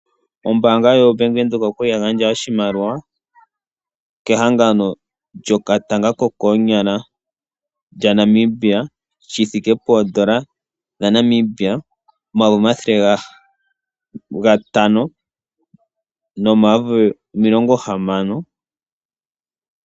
Ombaanga ndjono yoBank Windhoek okwali ya gandja oshimaliwa kehangano lyokatanga ko koonyala kaNamibia. Oshimaliwa okwali nee shi thike poodolla dhaNamibia omathele gantano nomilongo hamano.